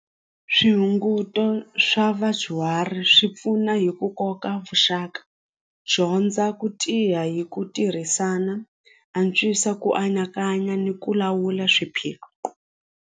Swihunguto swa vadyuhari swi pfuna hi ku koka vuxaka dyondza ku tiya hi ku tirhisana antswisa ku anakanya ni ku lawula swiphiqo.